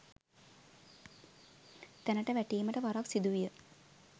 තැනට වැටීමට වරක් සිදුවිය